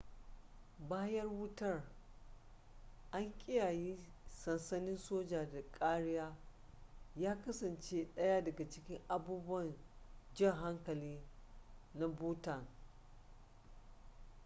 bayan wutar an kiyaye sansanin soja da kariya ya kasance ɗaya da cikin abubuwan jan hankali na bhutan